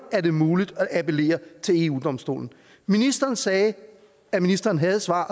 er muligt at appellere til eu domstolen ministeren sagde at ministeren havde svar